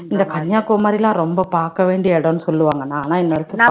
இந்த கன்னியாகுமரி எல்லாம் ரொம்ப பார்க்க வேண்டிய இடம்ன்னு சொல்லுவாங்கன்னா ஆனா